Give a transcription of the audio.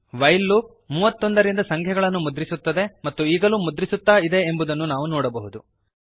while loop 31ರಿಂದ ಸಂಖ್ಯೆಗಳನ್ನು ಮುದ್ರಿಸುತ್ತದೆ ಮತ್ತು ಈಗಲೂ ಮುದ್ರಿಸುತ್ತಾ ಇದೆ ಎಂಬುದನ್ನು ನಾವು ನೋಡಬಹುದು